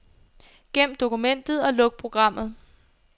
Gem dokumentet og luk programmet.